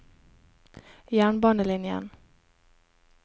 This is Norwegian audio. jernbanelinjen